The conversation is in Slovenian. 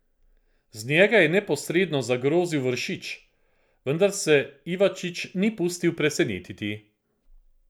Z njega je neposredno zagrozil Vršič, vendar se Ivačič ni pustil presenetiti.